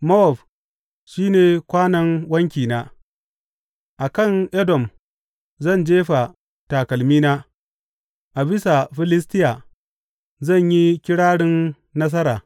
Mowab shi ne kwanon wankina, a kan Edom zan jefa takalmina; a bisa Filistiya zan yi kirarin nasara.